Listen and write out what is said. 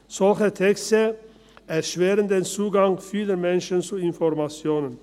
Solche Texte erschweren für viele Menschen den Zugang zu Informationen.